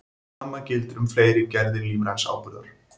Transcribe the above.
Sama gildir um fleiri gerðir lífræns áburðar.